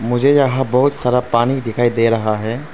मुझे यहां बहुत सारा पानी दिखाई दे रहा है।